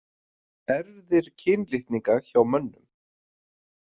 Erfðir kynlitninga hjá mönnum.